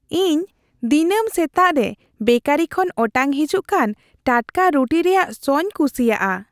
ᱤᱧ ᱫᱤᱱᱟᱹᱢ ᱥᱮᱛᱟᱜ ᱨᱮ ᱵᱮᱠᱟᱨᱤ ᱠᱷᱚᱱ ᱚᱴᱟᱝ ᱦᱤᱡᱩᱜ ᱠᱟᱱ ᱴᱟᱴᱠᱟ ᱨᱩᱴᱤ ᱨᱮᱭᱟᱜ ᱥᱚᱧ ᱠᱩᱥᱤᱭᱟᱜᱼᱟ ᱾